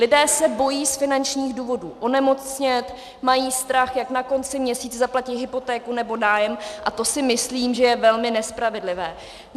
Lidé se bojí z finančních důvodů onemocnět, mají strach, jak na konci měsíce zaplatí hypotéku nebo nájem, a to si myslím, že je velmi nespravedlivé.